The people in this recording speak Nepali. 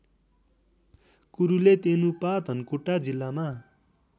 कुरुलेतेनुपा धनकुटा जिल्लामा